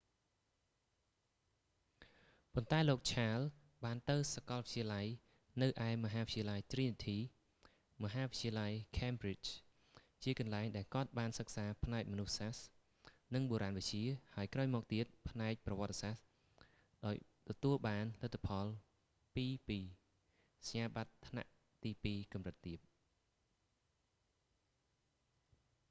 ប៉ុន្តែលោក ឆាល charles បានទៅសាកលវិទ្យាល័យនៅឯមហាវិទ្យាល័យទ្រីនីធី trinity college មហាវិទ្យាល័យ ខេមប្រ៊ីជ cambridge ជាកន្លែងដែលគាត់បានសិក្សាផ្នែកមនុស្សសាស្ត្រ និងបុរាណវិទ្យា ហើយក្រោយមកទៀតផ្នែកប្រវត្តិសាស្ត្រ ដោយទទួលបានលទ្ធផល 2:2 សញ្ញាបត្រថ្នាក់ ទីពីរកម្រិតទាប